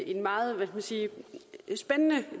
en meget spændende